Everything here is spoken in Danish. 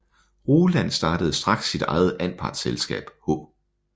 Roland startede straks sit eget anpartsselskab H